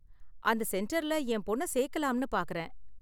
அந்த சென்டர்ல என் பொண்ண சேர்க்கலாம்னு பார்க்கறேன்.